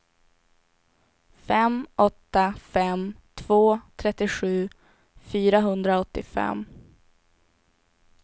fem åtta fem två trettiosju fyrahundraåttiofem